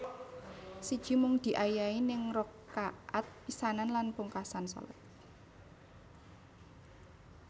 Siji Mung diayahi ing rakaat pisanan lan pungkasan shalat